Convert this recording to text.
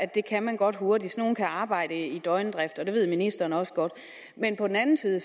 det kan man godt hurtigt sådan nogle kan arbejde i døgndrift og det ved ministeren også godt men på den anden side